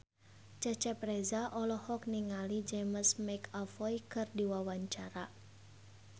Cecep Reza olohok ningali James McAvoy keur diwawancara